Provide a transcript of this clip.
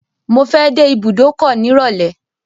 Mo fẹ́ dé ibùdókọ̀ nírọ̀lẹ́.